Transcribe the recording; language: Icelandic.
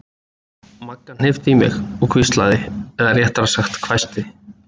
Magga hnippti í mig og hvíslaði eða réttara sagt hvæsti